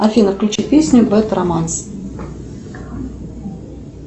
афина включи песню бед романс